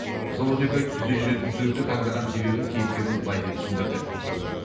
жыл он екі ай түзде жүретін түлікті таңдаған себебін кейіпкеріміз былай деп түсіндірді